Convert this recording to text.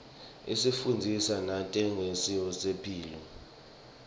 isifundzisa nangetemphilo